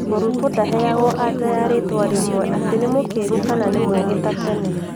Mũrutwo ndaheagwo anja ya ritwa rimwe atĩ nĩ mũkĩgu kana nĩ mũgi ta tene